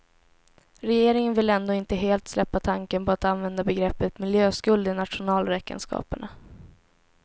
Regeringen vill ändå inte helt släppa tanken på att använda begreppet miljöskuld i nationalräkenskaperna.